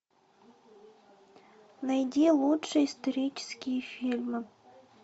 найди лучшие исторические фильмы